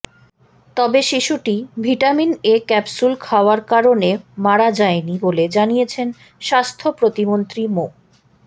তবে শিশুটি vitamin A capsule খাওয়ার কারণে মারা যায়নি বলে জানিয়েছেন স্বাস্থ্য প্রতিমন্ত্রী মো